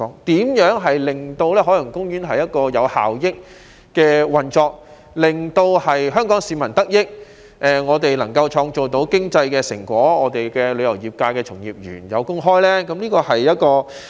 怎樣才能令海洋公園有效益地運作，使香港市民得益，既能創造經濟成果，又能讓旅遊業界從業員有工開呢？